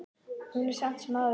Hún er samt sem áður ágæt.